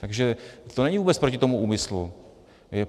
Takže to není vůbec proti tomu úmyslu.